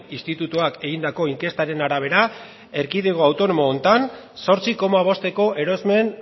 institutuak egindako inkestaren arabera erkidego autonomo honetan zortzi koma bosteko erosmen